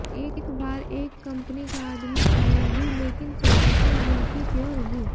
एक बार एक कंपनी का आदमी आया भी लेकिन पोजीशन ज्यों की त्यों रही